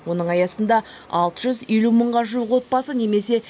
оның аясында алты жүз елу мыңға жуық отбасы немесе